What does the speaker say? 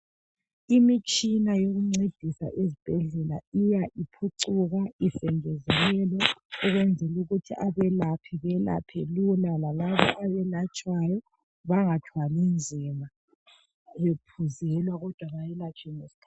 Imitshina yokuncedisa ezibhedlela iya iphucuka isengezelelwa ukwenzela ukuthi abalaphi balaphe Lula lalabo abalatshwayo bengathwali nzima bephuzelwa kodwa belatshwe ngesikhathi